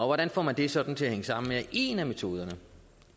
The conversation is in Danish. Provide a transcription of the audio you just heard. hvordan får man det sådan til at hænge sammen ja en af metoderne